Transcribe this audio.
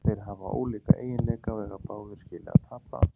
Þeir hafa ólíka eiginleika og eiga báðir skilið að spila.